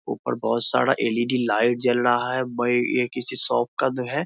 ऊपर बहोत सारा एल.ई.डी. लाइट जल रहा है बई ये किसी शॉप का दो है।